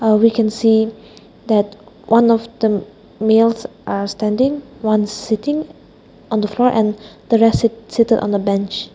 here we can see that one of the males are standing one sitting on the floor and the res rest seated on the bench.